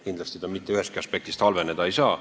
Kindlasti see mitte ühestki aspektist vaadates halveneda ei saa.